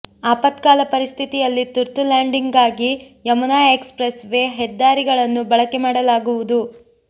ಅಪತ್ಕಾಲ ಪರಿಸ್ಥಿತಿಯಲ್ಲಿ ತುರ್ತು ಲ್ಯಾಂಡಿಂಗ್ಗಾಗಿ ಯಮುನಾ ಎಕ್ಸ್ ಪ್ರೆಸ್ ವೇ ಹೆದ್ದಾರಿಗಳನ್ನು ಬಳಕೆ ಮಾಡಲಾಗುವುದು